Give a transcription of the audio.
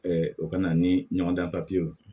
o ka na ni ɲɔgɔn dan ye